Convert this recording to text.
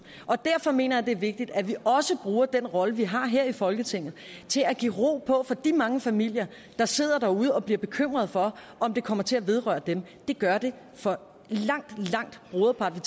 og derfor mener jeg det er vigtigt at vi også bruger den rolle vi har her i folketinget til at give ro på for de mange familier der sidder derude og bliver bekymrede for om det kommer til at vedrøre dem det gør det for langt langt broderparten